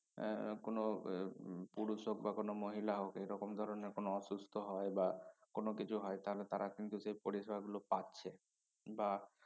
এর কোনো বে হম পুরুষ হোক বা কোনো মহিলা হোক এ রকম ধরনের কোনো অসুস্থ হয় বা কোনো কিছু হয় তাহলে তারা কিন্তু সে পরিসেবাগুলো পাচ্ছে বা